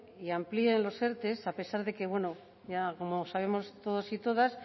y amplían los erte a pesar de que bueno ya como sabemos todos y todas